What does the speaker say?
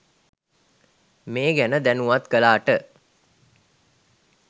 මේ ගැන දැනුවත් කළාට.